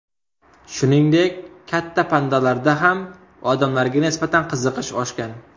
Shuningdek, katta pandalarda ham odamlarga nisbatan qiziqish oshgan.